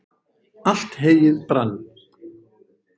allt heyið brann